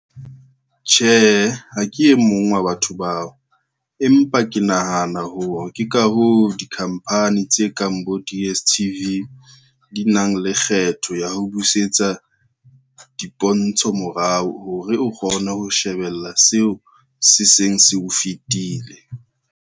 Tjhehe, ha ke e mong wa batho bao, empa ke nahana hore ke ka hoo, dikhampani tse kang bo, di-D_S_T_V di nang le kgetho ya ho busetsa dipontsho morao hore o kgone ho shebella seo se seng se o fetile.